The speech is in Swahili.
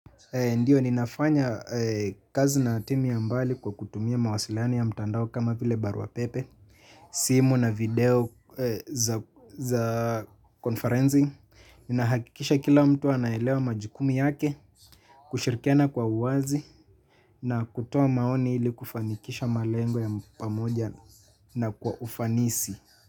Ndiyo ninafanya kazi na timu ya mbali kwa kutumia mawasiliano ya mtandao kama vile barua pepe. Simu na video za konfarenzi ninahakikisha kila mtu anaelewa majikumu yake. Kushirikiana kwa uwazi na kutoa maoni ili kufanikisha malengo ya pamoja na kwa ufanisi.